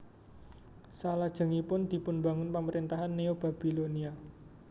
Salajengipun dipunbangun pamaréntahan Neobabbilonia